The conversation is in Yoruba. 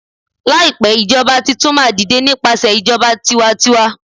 laipe ijoba Titun ma dide nipasẹ ijoba tiwantiwa